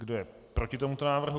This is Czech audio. Kdo je proti tomuto návrhu?